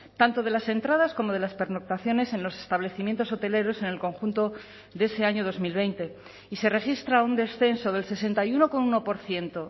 tanto de las entradas como de las pernoctaciones en los establecimientos hoteleros en el conjunto de ese año dos mil veinte y se registra un descenso del sesenta y uno coma uno por ciento